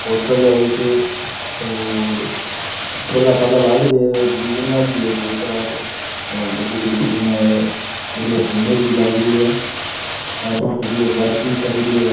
Hotel है एक और ठेला ठाला लाग री है और बिल्डिंगा भी है दो चार और बड़ी बड़ी बिल्डिंगा है बड़ी सुन्दर भी लाग रही है गाड़िया खड़ी है पार्किंग करेड़ी है गाड़ी।